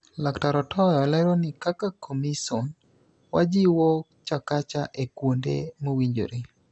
Laktar Otoyo lero ni kaka komison, wajiwo Chakacha e kuonde mowinjore.